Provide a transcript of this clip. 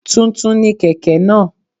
Tuntun ni kèké náà